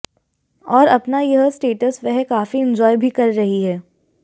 और अपना यह स्टेटस वह काफी एन्जॉय भी कर रही हैं